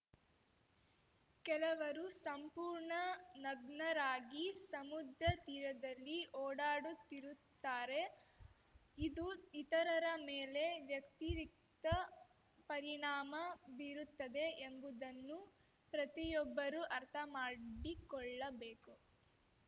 ಕೆಲವರು ಸಂಪೂರ್ಣ ನಗ್ನರಾಗಿ ಸಮುದ್ರ ತೀರದಲ್ಲಿ ಓಡಾಡುತ್ತಿರುತ್ತಾರೆ ಇದು ಇತರರ ಮೇಲೆ ವ್ಯತಿರಿಕ್ತ ಪರಿಣಾಮ ಬೀರುತ್ತದೆ ಎಂಬುದನ್ನು ಪ್ರತಿಯೊಬ್ಬರೂ ಅರ್ಥ ಮಾಡಿಕೊಳ್ಳಬೇಕು